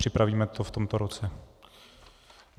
Připravíme to v tomto roce.